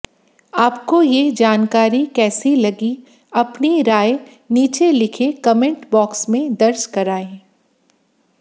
आपको ये जानकारी कैसे लगी अपनी राय नीचे लिखे कमेंट बॉक्स में दर्ज करायें